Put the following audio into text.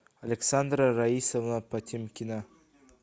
александра раисовна потемкина